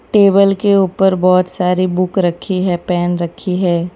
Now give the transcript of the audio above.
Table के ऊपर बहुत सारी बुक रखी है पेन रखी है।